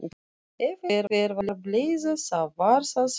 Ef einhver var bleyða þá var það hann.